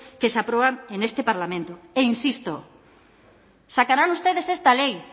que se aprueban en este parlamento e insisto sacarán ustedes esta ley